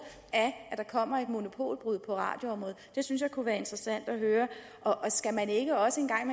af at der kommer et monopolbrud på radioområdet det synes jeg kunne være interessant at høre skal man ikke også en gang